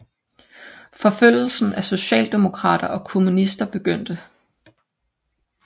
Forfølgelsen af socialdemokrater og kommunister begyndte